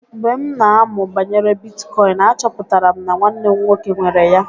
Mgbe m na-amụ banyere bitkọịn, achọpụtara m na nwanne m nwoke nwere ya.